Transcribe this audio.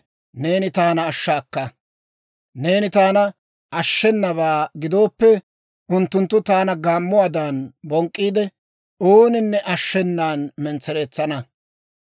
Neeni taana ashshenabaa gidooppe, Unttunttu taana gaammuwaadan bonk'k'iide, ooninne ashshenan mentsereetsana.